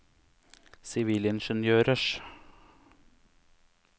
sivilingeniørers